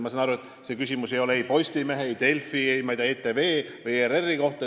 Ma saan aru, et see küsimus ei olnud ei Postimehe, Delfi, ETV ega ERR-i kohta.